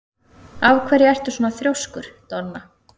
Af hverju ertu svona þrjóskur, Donna?